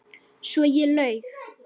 Svo ég laug.